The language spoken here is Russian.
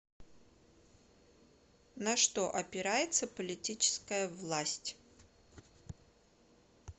на что опирается политическая власть